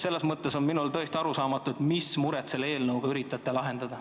Selles mõttes on mulle tõesti arusaamatu, mis muret te selle eelnõuga üritate lahendada.